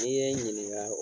N'i ye ɲininka